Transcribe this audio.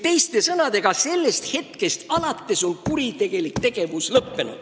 Teiste sõnadega, sellest hetkest alates kuritegelik tegevus lõppes.